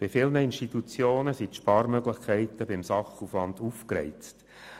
Bei vielen Institutionen sind die Sparmöglichkeiten beim Sachaufwand ausgereizt.